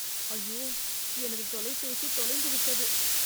ஐயோ எனது தொலைபேசி தொலைந்து விட்டது.